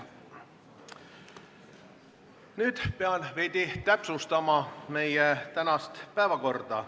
Nüüd pean veidi täpsustama meie tänast päevakorda.